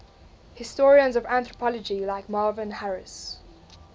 historians of anthropology like marvin harris